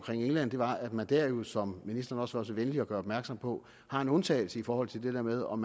england var at man dér jo som ministeren også var så venlig at gøre opmærksom på har en undtagelse i forhold til det der med om